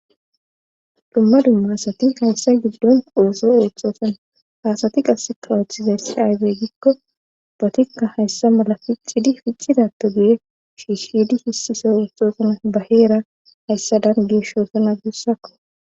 dumma dumma haasati hayssa giddon ooso oothxoosana haasati qasse kawooththizayssi ayzey gikko bootikka hayssa mala pixidi ficxidato giye shiishshidi hisise oothxoosana baheera hayssa dangeshoosana gussakko